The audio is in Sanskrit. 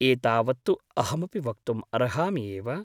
एतावत् तु अहमपि वक्तुम् अर्हामि एव ।